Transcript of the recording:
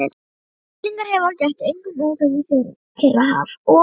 Fellingahreyfinga gætti einkum umhverfis Kyrrahaf og